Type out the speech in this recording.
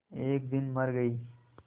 एक दिन मर गई